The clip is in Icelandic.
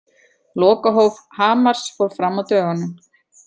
Lokahóf Hamars fór fram á dögunum.